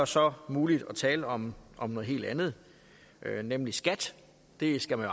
så muligt at tale om om noget helt andet nemlig skat det skal man